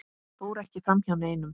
fór ekki framhjá neinum.